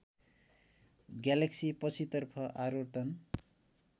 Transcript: galaxy पछितर्फ आवर्तन